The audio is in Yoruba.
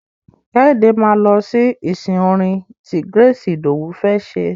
Kẹ́hìndé máa lọ sí ìsìn orin ti Grace Idowu fẹ́ ṣe.